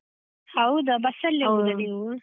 ಹೌದಾ, ಬಸ್ಸಲ್ಲೆ ಹೋಗುದ ನೀವು?